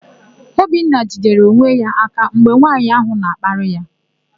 Obinna jidere onwe ya aka mgbe nwaanyị áhụ̀ na-akparị ya.